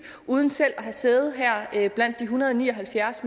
uden selv at have sæde her blandt de en hundrede og ni og halvfjerds